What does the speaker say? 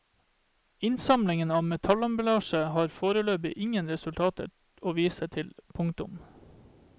Innsamling av metallemballasje har foreløpig ingen resultater å vise til. punktum